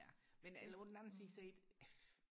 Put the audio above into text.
ja men eller på den anden side set